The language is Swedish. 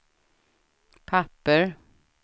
papper